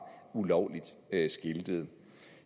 ulovligt skiltet